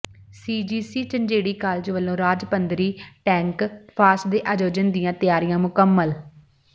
ਸੀ G C Jhanjeri college ਵੱਲੋਂ ਰਾਜ ਪੱਧਰੀ ਟੈੱਕ ਫੈਸਟ ਦੇ ਆਯੋਜਨ ਦੀਆਂ ਤਿਆਰੀਆਂ ਮੁਕੰਮਲ